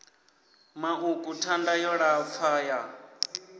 maṱuku thanda yo lapfa ya